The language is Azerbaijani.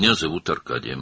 Adım Arkadidir.